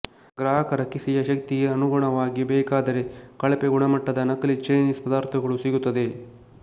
ಗ್ರಾಹಕರ ಕಿಸೆಯ ಶಕ್ತಿಗೆ ಅನುಗುಣವಾಗಿ ಬೇಕಾದರೆ ಕಳಪೆಗುಣಮಟ್ಟದ ನಕಲಿ ಚೈನೀಸ್ ಪದಾರ್ಥಗಳು ಸಿಗುತ್ತದೆ